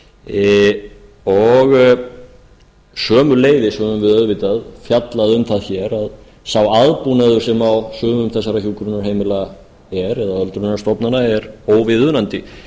sömuleiðis höfum við auðvitað fjallað um það hér að sá aðbúnaður sem á sumum þessara hjúkrunarheimila er eða öldrunarstofnana er óviðunandi